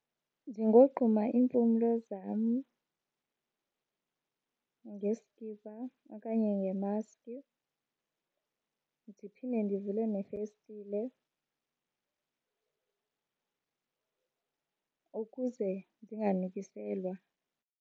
Ndingogquma iimpumlo zam ngesikipa okanye ngemaski. Ndiphinde ndivule nefestile ukuze ndinganukiselwa.